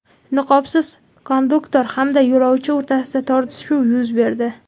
Niqobsiz konduktor hamda yo‘lovchi o‘rtasida tortishuv yuz berdi.